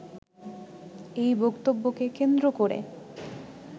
এই বক্তব্যকে কেন্দ্র করে